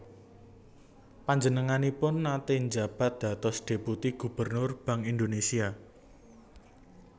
Panjenenganipun naté njabat dados deputi Gubernur Bank Indonesia